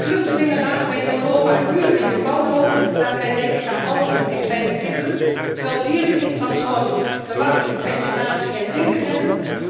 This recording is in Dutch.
Vluchtelingen laten wij in Europa uren in de kou lopen daarbij denk ik aan ouderen en kleine kinderen terwijl dieren tijdens het transport verwarming, ventilatie en drinken hebben.